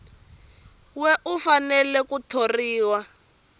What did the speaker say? we u fanele ku thoriwa